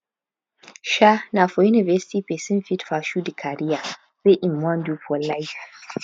um na for university person fit pursue di career wey im wan do for life